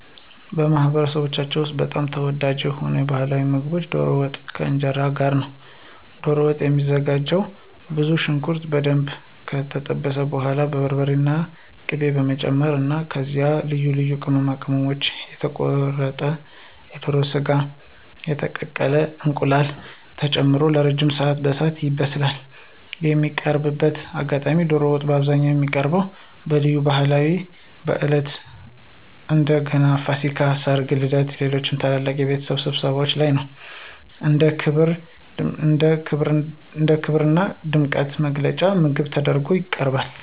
በማኅበረሰባችን ውስጥ በጣም ተወዳጅ የሆነው ባሕላዊ ምግብ ዶሮ ወጥ ከእንጀራ ጋር ነው። ዶሮ ወጥ የሚዘጋጀውም ብዙ ሽንኩርት በደንብ ከጠበሱ በኋላ በርበሬና ቅቤ በመጨመር ነው። ከዚያም ልዩ ልዩ ቅመማ ቅመሞች፣ የተቆረጠ የዶሮ ሥጋና የተቀቀለ እንቁላል ተጨምሮ ለረጅም ሰዓት በእሳት ይበስላል። የሚቀርብበት አጋጣሚም ዶሮ ወጥ በአብዛኛው የሚቀርበው በልዩ ሃይማኖታዊ በዓላት (እንደ ገናና ፋሲካ)፣ ሠርግ፣ ልደትና ሌሎች ታላላቅ የቤተሰብ ስብሰባዎች ላይ ነው። እንደ ክብርና ድምቀት መግለጫ ምግብ ተደርጎ ይቀርባል።